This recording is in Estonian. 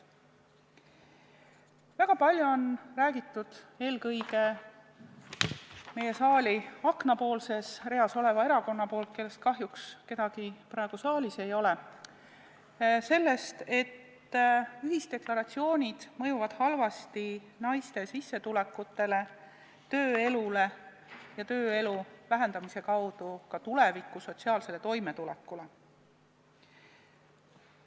Väga palju on räägitud – eelkõige saali aknapoolses reas oleva erakonna poolt, kellest kahjuks kedagi praegu saalis ei ole – sellest, et ühisdeklaratsioonid mõjuvad halvasti naiste sissetulekutele, tööelule ja selle kaudu ka sotsiaalsele toimetulekule tulevikus.